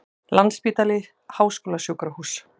Landspítali Háskólasjúkrahús.